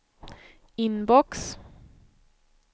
inbox